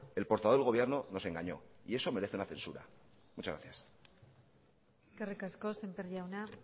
el portavoz del gobierno nos engañó y eso merece una censura muchas gracias eskerrik asko sémper jauna